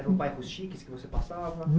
Eram bairros chiques que você passava?